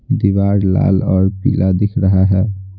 दीवार लाल और पीला दिख रहा है।